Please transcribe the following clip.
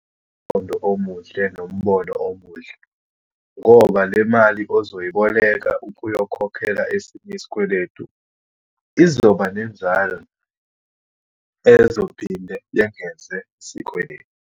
Umqondo omuhle nombono omuhle, ngoba le mali ozoyiboleka ukuyokhokhela esinye isikweletu, izoba nenzalo ezophinde yengeze isikweletu.